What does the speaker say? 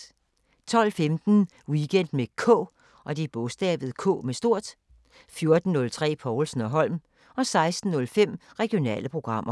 12:15: Weekend med K 14:03: Povlsen & Holm 16:05: Regionale programmer